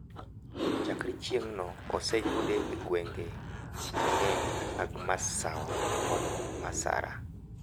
Chakre chieng`no oseyude egwenge mang`eny mag Masawa kod Masara.